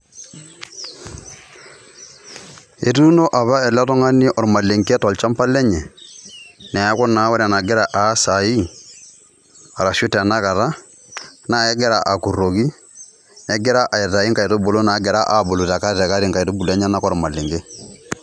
etuuno apa ele tung'ani olmalenke te shamba lenye neaku wore enegira aas saii aashu tanakata neaku akuroki negira aitayu nkaitubulu nagiraa abulu te kati kati olmalenke